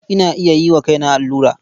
Ina iya yi wa kaina allura.